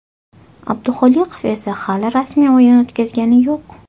Abduxoliqov esa hali rasmiy o‘yin o‘tkazgani yo‘q.